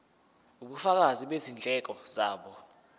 ubufakazi bezindleko zabo